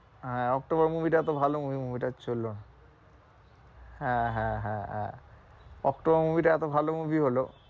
আহ October movie তো ভালো movie movie টা চললো না হ্যাঁ, হ্যাঁ, হ্যাঁ, হ্যাঁ অক্টোবর movie টা এতো ভালো movie হলো